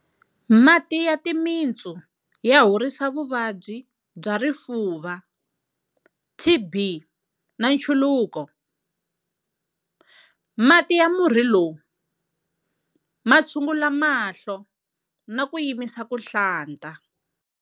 Mati ya timitsu ya horisa vuvabyi bya rifuva TB na nchuluko. Mati ya murhi lowu ma tshungula mahlo na ku yimisa ku hlanta.